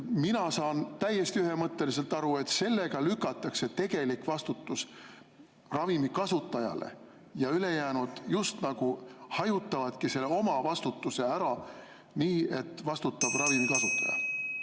" Mina saan täiesti ühemõtteliselt aru, et sellega lükatakse tegelik vastutus ravimi kasutajale, ja ülejäänud just nagu hajutavad oma vastutuse ära, nii et vastutab ravimi kasutaja.